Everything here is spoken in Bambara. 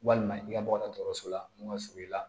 Walima i ka bɔ dɔgɔtɔrɔso la n'u ka surun i la